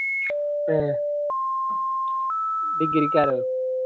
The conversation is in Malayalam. ഏഹ്ഹ് degree ക്കാരോ